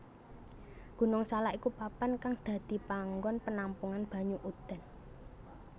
Gunung Salak iku papan kang dadi panggon penampungan banyu udan